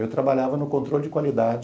Eu trabalhava no controle de qualidade